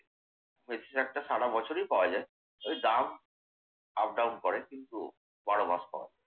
মেথি শাকটা সারাবছরই পাওয়া যায়। ওই দাম up down করে। কিন্তু বারো মাস পাওয়া যায়।